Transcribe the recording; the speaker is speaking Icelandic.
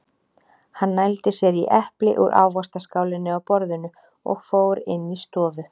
Hann nældi sér í epli úr ávaxtaskálinni á borðinu og fór inn í stofu.